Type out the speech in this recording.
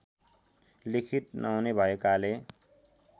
लिखत नहुने भएकाले